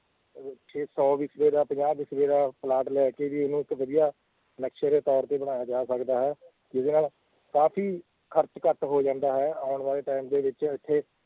ਅਹ ਕਿ ਸੌ ਵਿਸਵੇ ਦਾ ਪੰਜਾਬ ਵਿਸਵੇ ਦਾ ਪਲਾਟ ਲੈ ਕੇ ਵੀ ਉਹਨੂੰ ਇੱਕ ਵਧੀਆ ਨਕਸ਼ੇ ਦੇ ਤੌਰ ਤੇ ਬਣਾਇਆ ਜਾ ਸਕਦਾ ਹੈ ਜਿਹਦੇ ਨਾਲ ਕਾਫ਼ੀ ਖ਼ਰਚ ਘੱਟ ਹੋ ਜਾਂਦਾ ਹੈ ਆਉਣ ਵਾਲੇ time ਦੇ ਵਿੱਚ ਇੱਥੇ